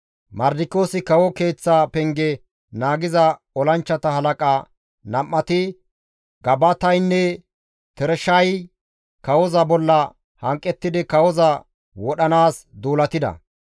Mardikiyoosi kawo keeththa penge naagiza olanchchata halaqa nam7ati Gabataynne Tereshay kawoza bolla hanqettidi kawoza wodhanaas duulatida.